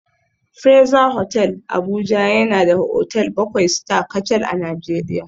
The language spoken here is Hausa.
Fraser Hotel Abuja yana da otal bakwai Star kacal a Najeriya